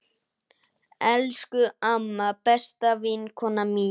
Elsku amma, besta vinkona mín.